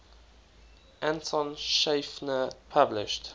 anton schiefner published